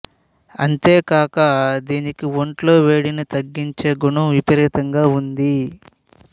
అంతే కాక దీనికి ఒంట్లో వేడిని తగ్గించే గుణం విపరీతంగా ఉంది